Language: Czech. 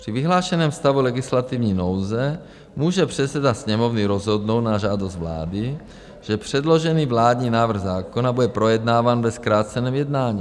Při vyhlášeném stavu legislativní nouze může předseda Sněmovny rozhodnout na žádost vlády, že předložený vládní návrh zákona bude projednáván ve zkráceném jednání.